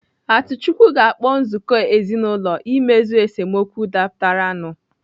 Atuchukwu ga-akpọ nzukọ ezinaụlọ imezu esemokwu dapụtara nu